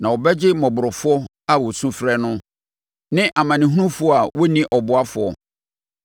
Na ɔbɛgye mmɔborɔfoɔ a wɔsu frɛ no, ne amanehunufoɔ a wɔnni ɔboafoɔ.